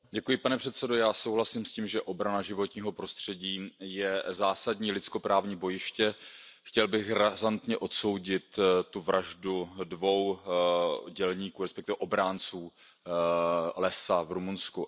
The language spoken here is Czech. Pane předsedající, já souhlasím s tím, že obrana životního prostředí je zásadní lidskoprávní bojiště. Chtěl bych razantně odsoudit vraždu dvou dělníků, respektive obránců lesa v Rumunsku.